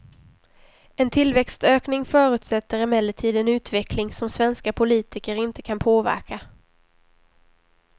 En tillväxtökning förutsätter emellertid en utveckling som svenska politiker inte kan påverka.